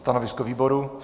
Stanovisko výboru?